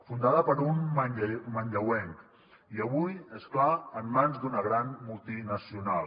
fundada per un manlleuenc i avui és clar en mans d’una gran multinacional